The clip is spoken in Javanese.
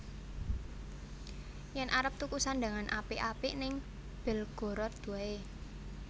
Yen arep tuku sandhangan apik apik ning Belgorod wae